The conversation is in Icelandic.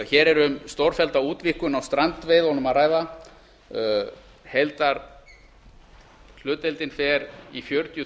hér er um stórfellda útvíkkun á strandveiðunum að ræða heildarhlutdeildin fer í fjörutíu